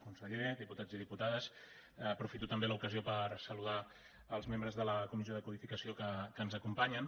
conseller diputats i diputades aprofito també l’ocasió per saludar els membres de la comissió de codificació que ens acompanyen